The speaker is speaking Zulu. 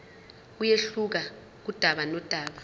kuyehluka kudaba nodaba